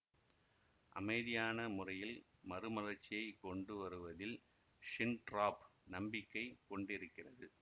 அமைதியான முறையில் மறுமலர்ச்சியை கொண்டு வருவதில் ஹிண்ட்ராப் நம்பிக்கை கொண்டிருக்கிறது